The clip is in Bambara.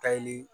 Kayi